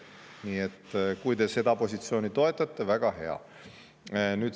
Nii et kui te seda positsiooni toetate, väga hea.